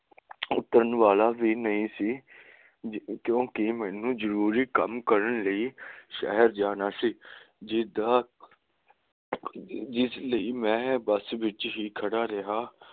ਉਤਰਨ ਵਾਲਾ ਵੀ ਨਹੀਂ ਸੀ ਕਿਉਕਿ ਮੈਨੂੰ ਜਰੂਰੀ ਕੰਮ ਕਰਨ ਲਈ ਸ਼ਹਿਰ ਜਾਣਾ ਸੀ ਜਿਸ ਲਈ ਮੈਂ ਬੱਸ ਵਿੱਚ ਹੀ ਖੜਾ ਰਿਹਾ